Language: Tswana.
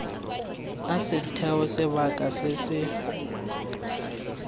a setheo sebaka se se